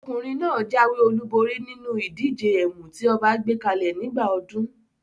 Ọkùnrin náà jáwé olúborí ní inú ìdíje ẹ̀mù tí ọba gbé kalẹ̀ nígbà ọdún.